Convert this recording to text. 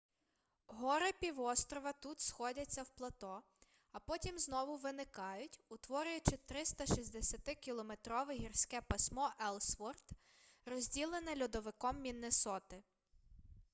гори півострова тут сходяться в плато а потім знову виникають утворюючи 360-кілометрове гірське пасмо еллсворт розділене льодовиком міннесоти